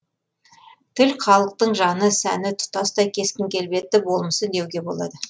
тіл халықтың жаны сәні тұтастай кескін келбеті болмысы деуге болады